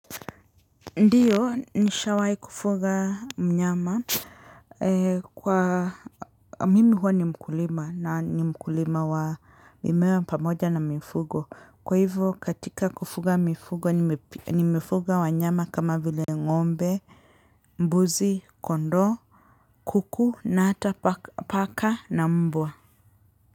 Ndiyo nishawahi kufuga mnyama kwa mimi huwa ni mkulima na ni mkulima wa mimea pamoja na mifugo kwa hivyo katika kufuga mifugo nimefuga wanyama kama vile ngombe mbuzi kondoo kuku na hata paka na mbwa.